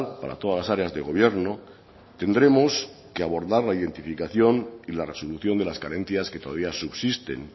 para todas las áreas de gobierno tendremos que abordar la identificación y la resolución de las carencias que todavía subsisten